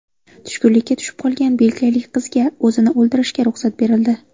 Tushkunlikka tushib qolgan belgiyalik qizga o‘zini o‘ldirishga ruxsat berildi.